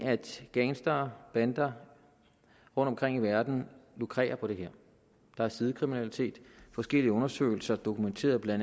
gangstere bander rundtomkring i verden lukrerer på det her der er sidekriminalitet og forskellige undersøgelser dokumenterede bla